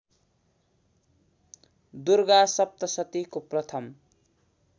दुर्गा सप्तशतीको प्रथम